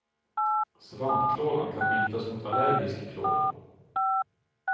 Svampklådan kan bytas mot allergisk klåda.